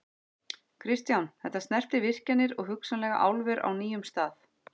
Kristján: Þetta snertir virkjanir og hugsanlega álver á nýjum stað?